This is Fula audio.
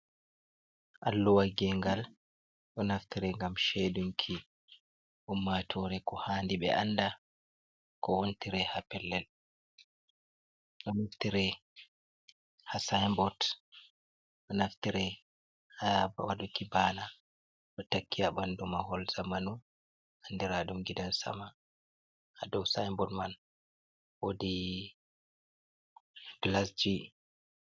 Alluwal gengal ɗo naftere ngam sheidunki ummatore ko handi be anda, ko wontire ha pellel ɗo naftire ha sinbord ɗo naftire ha waɗuki bana, ɗo takki ha ɓanɗu ma hol zamanu andira ɗum gidan sama, ha dou sinbord man wodi glas ji.